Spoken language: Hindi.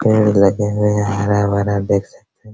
पेड़ लगे हुए है हरा-भरा देख सकते है।